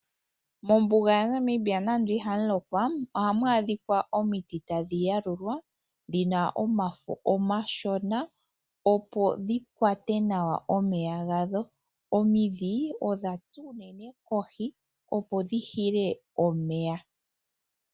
Mombuga yaNamibia nando ihamu lokwa, ohamu adhika omiti tadhi yalulwa, dhina omafo omashona opo dhi kwate nawa omeya gadho. Omidhi odha tsa unene kohi opo dhi hile omeya.